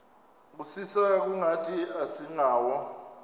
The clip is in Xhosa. kusisa kungathi asingawo